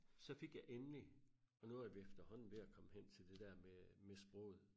Så fik jeg endelig og nu er vi efterhånden ved at komme hen til det dér med sproget